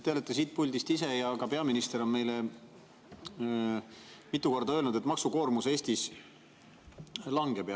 Teie olete siit puldist ise ja ka peaminister on meile mitu korda öelnud, et maksukoormus hakkab Eestis langema.